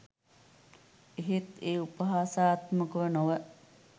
එහෙත් ඒ උපහාසාත්මකව නොව